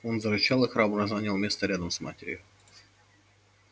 он зарычал и храбро занял место рядом с матерью